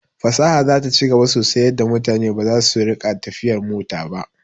Fasaha zata ci gaba sosai yadda mutane baza su rika tafiyar mota ba